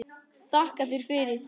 JÓN: Þakka þér fyrir!